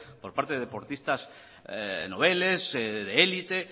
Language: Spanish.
por parte de deportistas noveles de élite